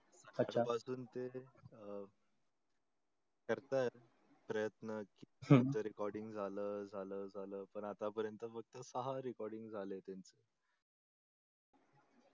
अच्छा आता पासून ते अं करतात प्रयत्न की हम्म जर recording झाल झाल झाल पण आता प्रयत्न फक्त सहा recording झाले आहे त्यांचे